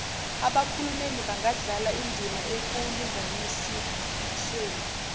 abakhulumeli bangadlala indimaekulinganisweni